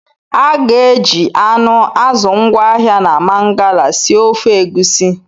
A ga-eji anụ, azụ ngwaahịa na Mangala sie ofe Egusi